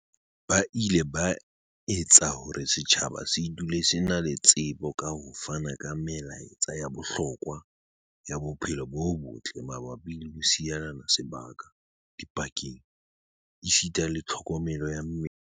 Ba ile ba etsa hore setjhaba se dule se na le tsebo ka ho fana ka melaetsa ya bohlokwa ya bophelo bo botle mabapi le ho sielana sebaka dipakeng esita le tlho komelo ya mmele.